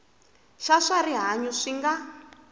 xa swa rihanyu swi nga